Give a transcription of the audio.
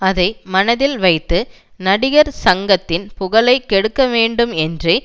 அதை மனதில் வைத்து நடிகர் சங்கத்தின் புகழை கெடுக்க வேண்டும் என்றே